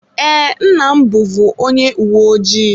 Ee, nna m bụvu onye uwe ojii.